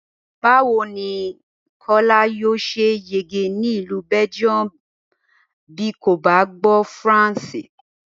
Báwo ni Kó̩lá yóò s̩e yege ní ì̀lú Bé̩gíùmù bí kò bá gbó̩ Faransè?